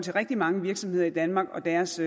rigtig mange virksomheder i danmark og deres